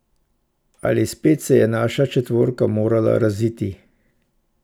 Ali spet se je naša četvorka morala raziti.